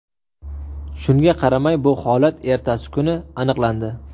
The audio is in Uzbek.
Shunga qaramay, bu holat ertasi kuni aniqlandi.